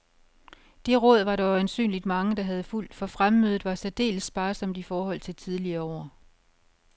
Det råd var der øjensynligt mange, der havde fulgt, for fremmødet var særdeles sparsomt i forhold til tidligere år.